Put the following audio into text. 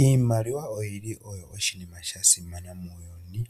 Iimaliwa oyi li oshinima sha simana muuyuni